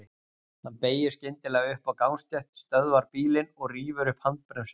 Hann beygir skyndilega upp á gangstétt, stöðvar bílinn og rífur upp handbremsuna.